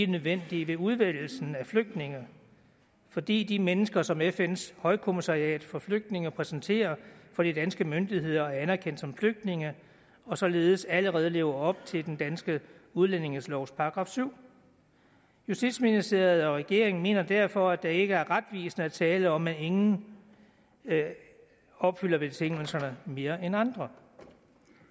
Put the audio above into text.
nødvendige ved udvælgelsen af flygtninge fordi de mennesker som fns højkommissariat for flygtninge præsenterer for de danske myndigheder er anerkendt som flygtninge og således allerede lever op til den danske udlændingelovs § syvende justitsministeriet og regeringen mener derfor at det ikke er retvisende at tale om at ingen opfylder betingelserne mere end andre